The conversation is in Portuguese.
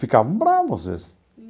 ficavam bravos às vezes.